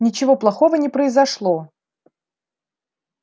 ничего плохого не произошло